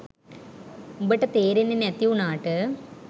උබට තේරෙන්නේ නැති උනාට